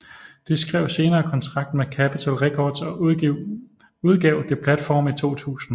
De skrev senere kontrakt med Capital Records og udgav The Platform i 2000